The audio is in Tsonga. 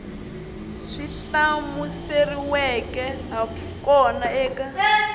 swi hlamuseriweke ha kona eka